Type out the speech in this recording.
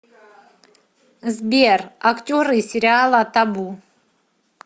сбер актеры сериала табу